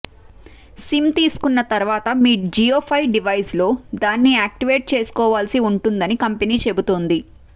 SIM తీసుకున్న తరువాత మీరు జియోఫై డివైస్లో దాన్ని యాక్టివేట్ చేసుకోవాల్సి ఉంటుందని కంపెనీ చెబుతోంది